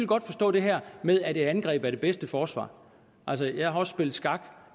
godt forstå det her med at et angreb er det bedste forsvar altså jeg har også spillet skak